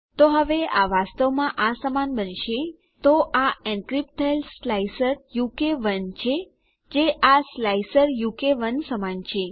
તો હવે આ વાસ્તવમાં આ સમાન બનશે તો આ એનક્રિપ્ટ થયેલ સ્લાઇસર ઉ કે 1 છે જે આ સ્લાઇસર ઉ કે 1 સમાન છે